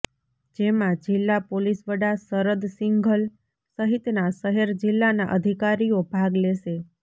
જેમાં જિલ્લા પોલીસવડા શરદ સિંઘલ સહિતના શહેર જિલ્લાના અધિકારીઓ ભાગ લેશે